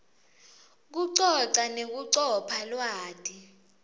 kucoca nekucopha lwati